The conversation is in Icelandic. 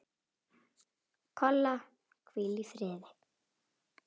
Kolla, hvíl í friði.